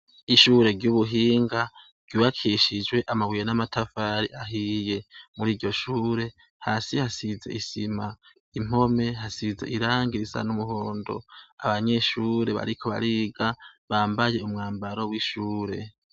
Ishure ryubuhinga ryubakishijwe amabuye namatafari ahiye muri iryoshure hasi hasize isima impome hasize irangi risa numuhondo abanyeshure bariko bariga bambaye umwambaro wishure